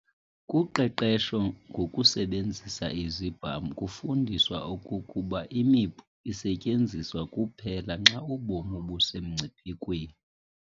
Kuqeqesho ngokusebenzisa Izibham kufundiswa okokuba imipu isetyenziswa kuphela xa ubomi busemngciphekweni.